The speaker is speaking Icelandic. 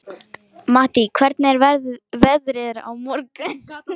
Mattý, hvernig er veðrið á morgun?